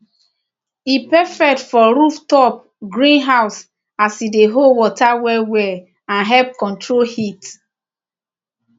e perfect for rooftop greenhouse as e dey hold water well well and help control heat